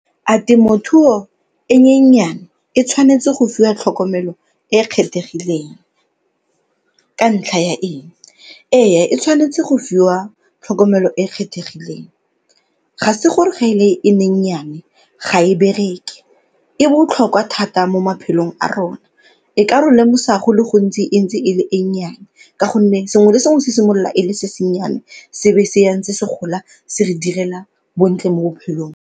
A temothuo e nyenyane e tshwanetse go fiwa tlhokomelo e e kgethegileng ka ntlha ya eng? Ee, e tshwanetse go fiwa tlhokomelo e kgethegileng, ga se gore ga e le e nyenyane ga e bereke, e botlhokwa thata mo maphelong a rona. E ka re lemosa go le gontsi e ntse e le e nnyane ka gonne sengwe le sengwe se simolola e le se se nnyane se ba se ya ntse se gola se re direla bontle mo bophelong.